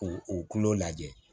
K'o o kulo lajɛ